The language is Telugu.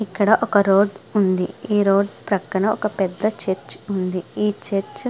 ఇక్కడ ఒక రోడ్డు ఉంది. ఈ రోడ్డు ప్రక్కన ఒక పెద్ద చర్చి ఉంది. ఈ చర్చ --